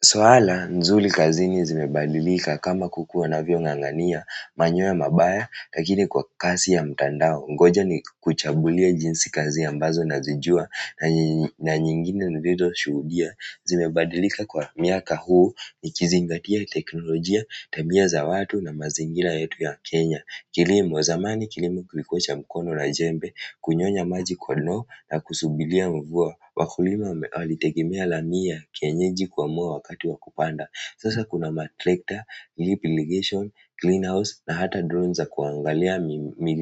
Suala mzuri kazini zimebadilika kama kukua unavyo ng'ang'ania manyoya mabaya lakini kwa kazi ya mtandao ngoja nikuchagulie jinsi kazi ambazo nazijua na nyingine nilizoshuhudia zimebadilika kwa miaka huu nikizingatia teknolojia, tabia za watu na mazingira yetu ya Kenya. Kilimo, zamani kilimo kilikuwa cha mkono na jembe, kunyonya maji kwa ndoo na kusubiria mvua wakulima walitegemea lamii, ya kienyeji kuamua wakati wa kupanda sasa kuna matrekta, lip ligation, clean house na hata drones za kuangalia